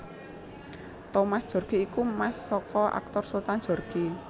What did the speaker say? Thomas Djorghi iku mas saka aktor Sultan Djorghi